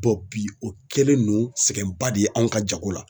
bi o kɛlen no sɛgɛnba de ye anw ka jago la.